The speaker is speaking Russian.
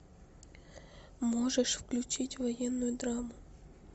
можешь включить военную драму